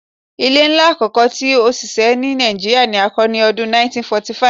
Ile nla akọkọ ti osise ni Nigeria ni a kọ ni ọdun 1845